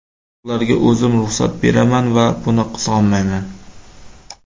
Ularga o‘zim ruxsat beraman va buni qizg‘onmayman.